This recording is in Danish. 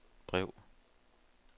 brev